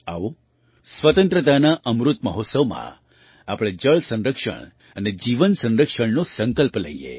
આવો સ્વતંત્રતાના અમૃત મહોત્સવમાં આપણે જળ સંરક્ષણ અને જીવન સંરક્ષણનો સંકલ્પ લઈએ